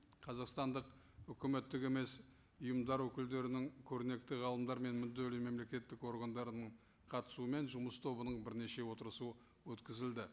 қазақстандық үкіметтік емес ұйымдары өкілдерінің көрнекті ғалымдар мен мүдделі мемлекеттік органдарының қатысуымен жұмыс тобының бірнеше отырысы өткізілді